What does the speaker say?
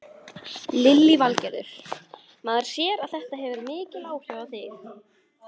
Lillý Valgerður: Maður sér að þetta hefur mikil áhrif á þig?